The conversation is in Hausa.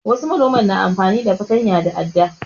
Wasu manoman na amfani da fatanya da adda.